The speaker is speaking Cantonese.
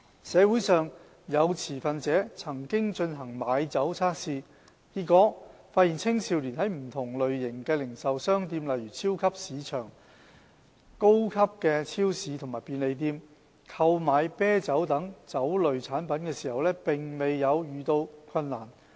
社會上有持份者曾進行買酒測試，結果發現青少年在不同類型的零售商店，例如超級市場、高級超市和便利店，購買啤酒等酒類產品時，並沒有遇到困難。